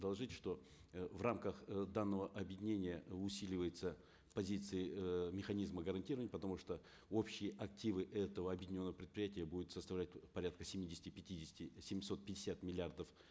доложить что э в рамках э данного объединения усиливаются позиции э механизмы гарантирования потому что общие активы этого объединенного предприятия будут составлять порядка семидесяти пятидесяти семьсот пятьдесят миллиардов